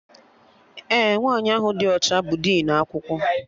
Ee, nwaanyị ahụ dị ọcha bụ dinu akwụkwọ